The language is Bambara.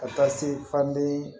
Ka taa se faden